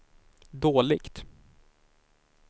dåligt